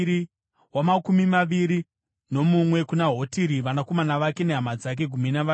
wamakumi maviri nemiviri kuna Gidhariti, vanakomana vake nehama dzake—gumi navaviri;